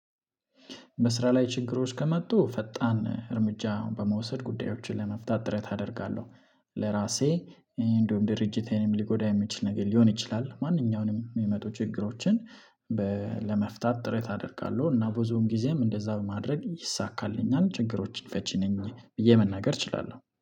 በስራ ላይ ችግሮች ከመጡ ፈጣን እርምጃ በመውሰድ ጉዳዮችን ለመፍታት ጥረት አደርጋለሁ። ለራሴ እኔ እንደውም ድርጅቴንም ሊጎዳ የሚችል ነገር ሊሆን ይችላል ማንኛውንም የሚመጡ ችግሮችን። ለመፍታት ጥረት አደርጋለሁ እና ብዙውን ጊዜም እንደዛ በማድረግ ይሳካልኛል ችግሮችን ፈቺ ነኝ ብዬ መናገር እችላለሁ